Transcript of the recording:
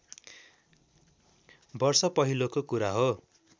वर्ष पहिलेको कुरा हो